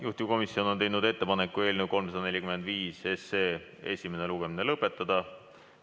Juhtivkomisjon on teinud ettepaneku eelnõu 345 esimene lugemine lõpetada.